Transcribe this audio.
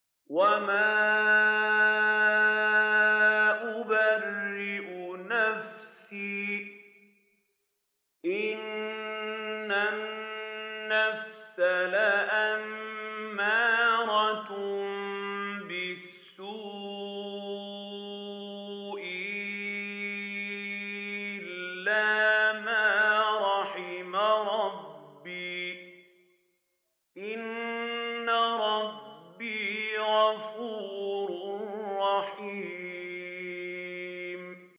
۞ وَمَا أُبَرِّئُ نَفْسِي ۚ إِنَّ النَّفْسَ لَأَمَّارَةٌ بِالسُّوءِ إِلَّا مَا رَحِمَ رَبِّي ۚ إِنَّ رَبِّي غَفُورٌ رَّحِيمٌ